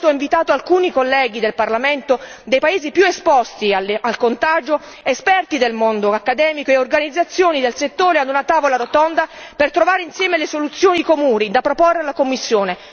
Per questo ho invitato alcuni colleghi del Parlamento dei paesi più esposti al contagio, esperti del mondo accademico e organizzazioni del settore, ad una tavola rotonda per trovare insieme le soluzioni comuni da proporre alla Commissione.